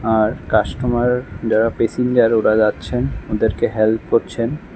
আর customer যারা passenger ওরা যাচ্ছেন ওদেরকে হেল্প করছেন।